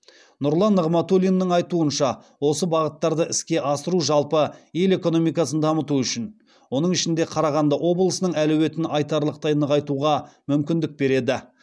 нұрлан нығматулиннің айтуынша осы бағыттарды іске асыру жалпы ел экономикасын дамыту үшін оның ішінде қарағанды облысының әлеуетін айтарлықтай нығайтуға мүмкіндік береді